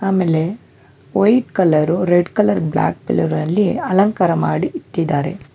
ಆಮೇಲೆ white colour red colour black colour ಮಾಡಿ ಇಟ್ಟಿದ್ದಾರೆ.